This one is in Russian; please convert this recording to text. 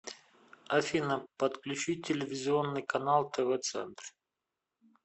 афина подключи телевизионный канал тв центр